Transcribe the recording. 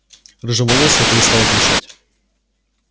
рыжеволосая перестала кричать